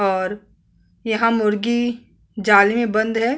और यहाँ मुर्गी जाल में बंद है।